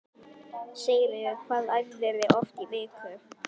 Sigríður: Hvað æfirðu oft í viku?